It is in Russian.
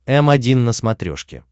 м один на смотрешке